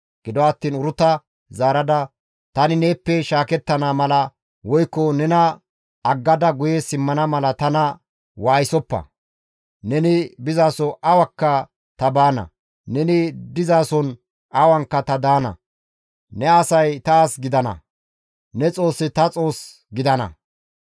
Gido attiin Uruta zaarada, «Tani neeppe shaakettana mala woykko nena aggada guye simmana mala tana waayisoppa. Neni bizaso awakka ta baana; neni dizason awanka ta daana; ne asay ta as gidana; ne Xoossi ta Xoos gidana.